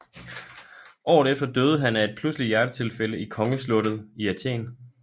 Året efter døde han af en pludseligt hjertetilfælde i Kongeslottet i Athen